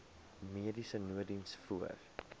mediese nooddiens voor